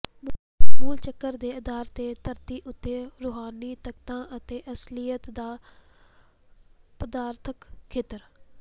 ਮੂਲ ਚੱਕਰ ਦੇ ਆਧਾਰ ਤੇ ਧਰਤੀ ਉੱਤੇ ਰੂਹਾਨੀ ਤਾਕਤਾਂ ਅਤੇ ਅਸਲੀਅਤ ਦਾ ਪਦਾਰਥਕ ਖੇਤਰ